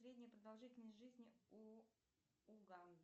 средняя продолжительность жизни у у